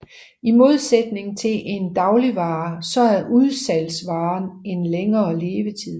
I modsætning til en dagligvare så har udvalgsvaren en længere levetid